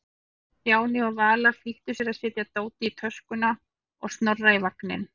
Stjáni og Vala flýttu sér að setja dótið í töskuna og Snorra í vagninn.